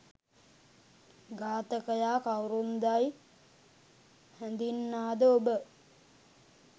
ඝාතකයා කවුරුන්දැයි හැඳින්නා ද ඔබ?